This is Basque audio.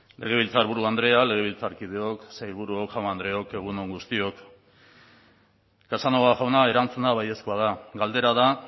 legebiltzarburu andrea legebiltzarkideok sailburuok jaun andreok egun on guztiok casanova jauna erantzuna baiezkoa da galdera da